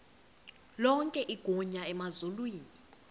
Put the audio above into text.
lonke igunya emazulwini